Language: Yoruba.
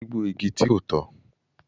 Gbígbó igi ti ko tọ